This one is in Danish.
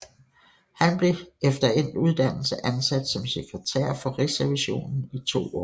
Han blev efter endt uddannelse ansat som sekretær for Rigsrevisionen i to år